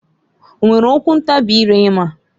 O nwere okwu ntabị ire ịma?